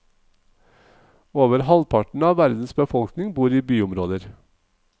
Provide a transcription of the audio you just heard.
Over halvparten av verdens befolkning bor i byområder.